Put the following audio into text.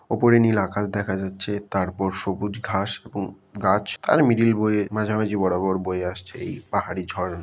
উপরে নীল আকাশ দেখা যাচ্ছে তারপর সবুজ ঘাস এবং গাছ তার মিডিল বয়ে মাঝামাঝি বরাবর বয়ে আসছে এই পাহাড়ি ঝর--